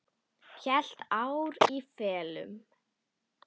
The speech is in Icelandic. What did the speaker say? Heilt ár í felum.